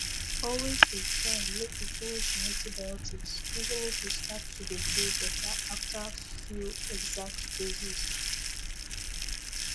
always dey try make you finish your antibiotics even if you start to dey feel better after few exact doses